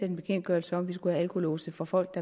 en bekendtgørelse at vi skulle have alkolåse for folk